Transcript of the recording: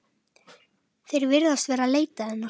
Þeir virðast vera að leita hennar.